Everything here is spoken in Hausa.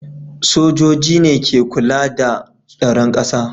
Sojoji ne suke kula da tsaron ƙasa